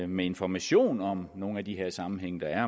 med information om nogle af de sammenhænge der er